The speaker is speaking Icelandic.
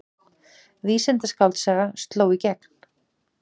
Vísindaskáldsaga sló í gegn